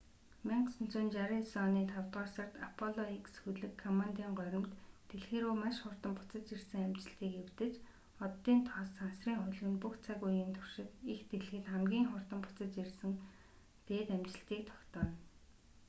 1969 оны тавдугаар сард аполло x хөлөг коммандын горимд дэлхий рүү маш хурдан буцаж ирсэн амжилтыг эвдэж оддын тоос сансрын хөлөг нь бүх цаг үеийн туршид эх дэлхийд хамгийн хурдан буцаж ирсэн дээд амжилтыг тогтооно